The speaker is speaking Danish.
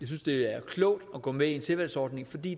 synes det er klogt at gå med i en tilvalgsordning for det